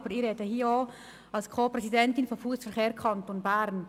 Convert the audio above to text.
Aber ich rede hier auch als Präsidentin von Fussverkehr Kanton Bern.